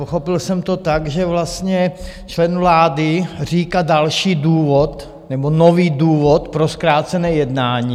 Pochopil jsem to tak, že vlastně člen vlády říká další důvod, nebo nový důvod pro zkrácené jednání.